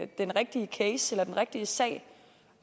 den rigtige case eller den rigtige sag